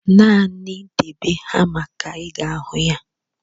Naanị debe hama ka ị ga-ahụ ya.